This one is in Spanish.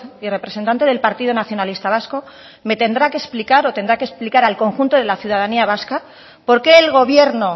y representante del partido nacionalista vasco me tendrá que explicar o tendrá que explicar al conjunto de la ciudadanía vasca por qué el gobierno